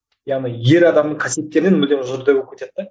яғни ер адамның қасиеттерінен мүлдем жұрдай болып кетеді де